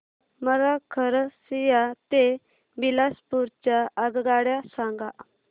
मला खरसिया ते बिलासपुर च्या आगगाड्या सांगा